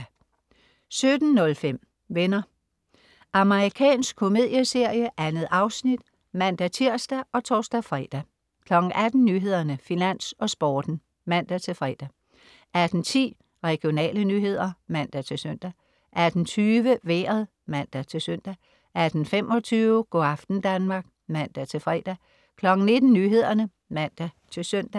17.05 Venner. Amerikansk komedieserie. 2 afsnit (man-tirs og tors-fre) 18.00 Nyhederne, Finans og Sporten (man-fre) 18.10 Regionale nyheder (man-søn) 18.20 Vejret (man-søn) 18.25 Go' aften Danmark (man-fre) 19.00 Nyhederne (man-søn)